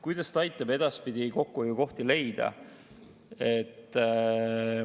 Kuidas ta aitab edaspidi kokkuhoiukohti leida?